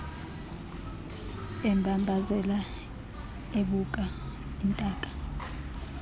embambazela ebuka intaka